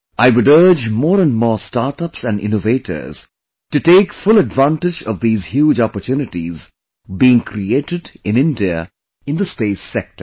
I would urge more and more Startups and Innovators to take full advantage of these huge opportunities being created in India in the space sector